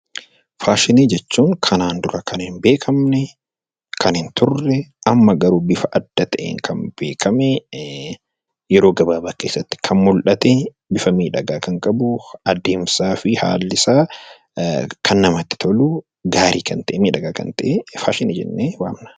Faashinii jechuun kanaan dura kan hin beekamne, kan hin turre amma garuu bifa adda ta'een beekame, yeroo gabaabaa keessatti kan mul'ate, bifa miidhagaa kan qabu, adeemsaa fi haallisaa kan namatti tolu gaarii kan ta'e, miidhagaa kan ta'e faashinii jennee waamna.